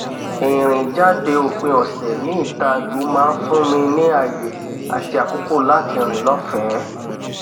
ìrìn jáde òpin ọsẹ ní ìta ìlú maá n fún mi ní ààyè àti àkókò láti rìn lọfẹẹ